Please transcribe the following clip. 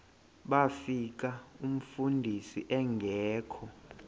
bafika umfundisi engekho